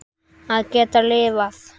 Að geta lifað.